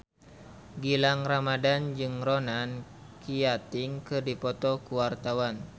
Gilang Ramadan jeung Ronan Keating keur dipoto ku wartawan